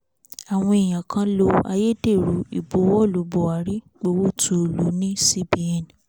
àwọn èèyàn kan lo ayédèrú ìbuwọ́lu buhari gbowó tuulu ní cbn